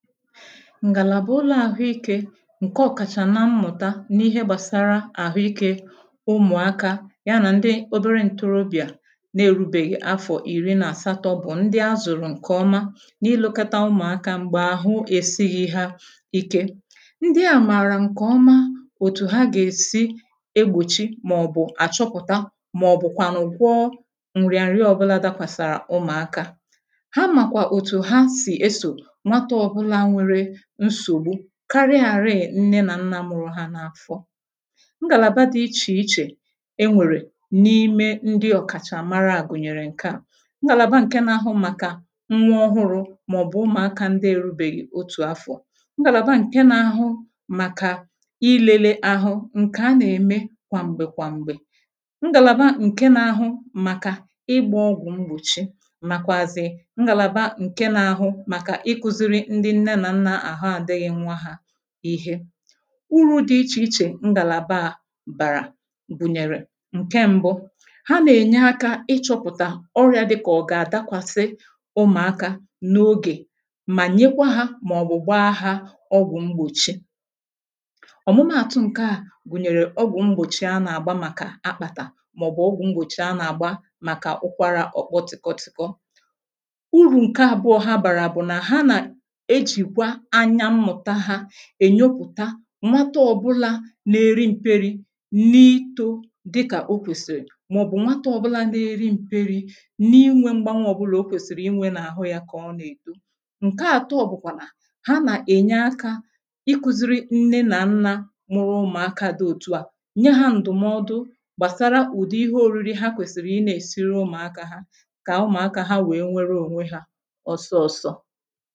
ǹgàlàba ụlọ̀ àhụikē ǹke ọ̀kàchà nà mmụ̀ta n’ihe gbàsara àhụikē ụmụ̀akā ya nà ndị obere ǹtorobịà n’erūbèghi afọ̀ ìri n’àsatọ̄ bụ̀ ndị azụ̀rụ̀ ǹkè ọma n’ilēkọta ụmụ̀akā m̀gbè àhụ èsighī ha ike, ndị ā màrà ǹkè ọma òtù ha gà-èsi egbòchi maọ̀bụ̀ àchọpụ̀ta maọ̀bụ̀ kwànụ̀ gwọọ nrịa nrịa ọbụlā dakwàsàrà ụmụ̀akā ha màkwà òtù hasị̀ esò nwatà ọbụlā nwere nsògbu karịàrị nne nà nnā mụrụ hā n’afọ ngàlàba dị ichè ichè enwèrè n’ime ndị ọ̀kàchàmara à gụ̀nyèrè ǹkè aa ngàlàba ǹke n’ahụ màkà nwa ọhụrụ̄ maọ̀bụ̀ umùakā ndị erūbèghì otù afọ,̄ ngalaba nke n’ahụ màkà ilēlē ahụ ǹkè a na-ème gwàm̀gbè gwàm̀gbè, ngàlàba ǹke n’ahụ màkà ịgbā ọgwụ̀ mgbòchi, màkwàzị̀ ngàlàba ǹke n’ahụ màkà ikūziri ndị nne nà nnà àhụ adị̄ghị̄ nwa hā ihe urù dị ichè ichè ngàlàba a bàrà gụ̀nyèrè ǹke m̀bụ: ha n’ènye akā ịchọ̄pụ̀tà ọrịà dị kà ọ̀ gà dakwàsị ụmụ̀akā n’ogè mà nyekwa hā maọ̀bụ̀ gbaa hā ọgwụ̀ mgbòchi, ọ̀mụma àtụ̀ ǹkè a gùnyèrè ọgwụ̀ mgbòchi anà àgba màkà akpàtà maọ̀bụ̀ ọgwụ̀ mgbòchi anà àgba màkà ụkwalà ọ̀kpọ tị̀kọ tị̀kọ. Urù ǹkè àbụ̀ọ ha bàrà bụ̀ nà ha nà ejìkwa anya mmụ̀ta hā ènyopụ̀ta nwatà ọbụlā na-eri mperi na-itō dị kà okwèsì maọ̀bụ̀ nwatà ọbụlā na-eri mperi n’inwē mgbanwè ọbụlā okwèsìrì inwē n’àhụ yā kà ọ na-èto. Nkè àtọ bụ̀kwà nà ha nà ènye akā ikūziri nne nà nna mụrụ ụmụ̀akā dị òtù a nye hā ǹdụ̀mọdụ gbàsara ụ̀dị̀ ihe orìrì ha kwèsìrì i na-èsiri ụmụ̀akā kà ụmụ̀akā ha wè nwere ònwe hā ọsọsọ